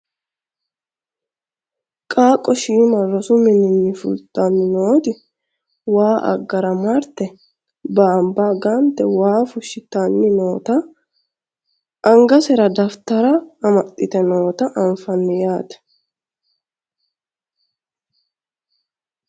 qaaqqo shiima rosu mininni fultanni nooti waa aggara marte baanba gante waa fushshitanni noota angasera dafitarra amaxxite noota anfanni yaate